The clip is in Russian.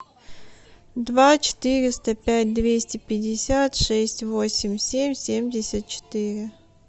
два четыреста пять двести пятьдесят шесть восемь семь семьдесят четыре